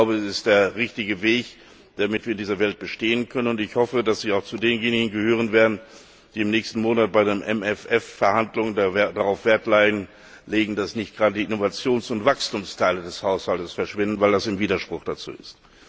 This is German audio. Das ist der richtige Weg, damit wir in dieser Welt bestehen können, und ich hoffe, dass Sie auch zu denjenigen gehören werden, die im nächsten Monat bei den MFR Verhandlungen darauf Wert legen, dass nicht gerade Innovations und Wachstumsteile des Haushaltes verschwinden, weil das ein Widerspruch dazu ist.